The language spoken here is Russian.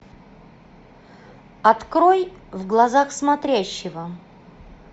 открой в глазах смотрящего